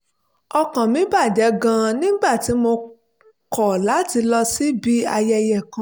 ọkàn mi bà jẹ́ gan-an nígbà tí mo kọ̀ láti lọ síbi ayẹyẹ kan